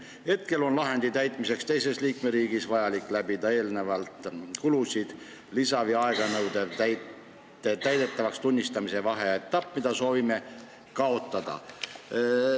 Hetkel on lahendi täitmiseks teises liikmeriigis vajalik läbida eelnevalt kulusid lisav ja aeganõudev täidetavaks tunnistamise vaheetapp, mida soovime kaotada.